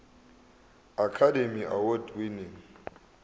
academy award winning